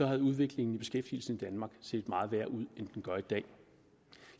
havde udviklingen i beskæftigelsen i danmark set meget værre ud end den gør i dag